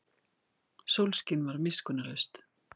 Sólskin var miskunnarlaust.